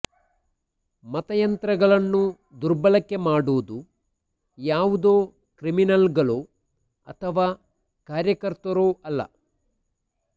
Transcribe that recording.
ಮತಯಂತ್ರಗಳನ್ನು ದುರ್ಬಳಕೆ ಮಾಡುವುದು ಯಾವುದೋ ಕ್ರಿಮಿನಲ್ಗಳೋ ಅಥವಾ ಕಾರ್ಯಕರ್ತರೋ ಅಲ್ಲ